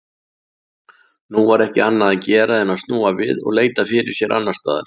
Nú var ekki annað að gera en snúa við og leita fyrir sér annarstaðar.